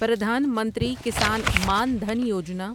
Pradhan Mantri Kisan Maan Dhan Yojana